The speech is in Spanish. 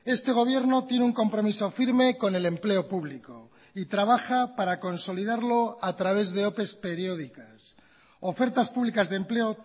este gobierno tiene un compromiso firme con el empleo público y trabaja para consolidarlo a través de ope periódicas ofertas públicas de empleo